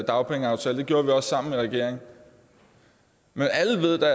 dagpengeaftale det gjorde vi også sammen i regering men alle ved